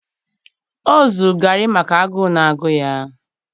o zuru garri maka agụụ na-agụ ya.